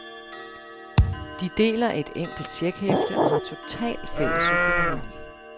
De deler et enkelt checkhæfte og har total fælles økonomi.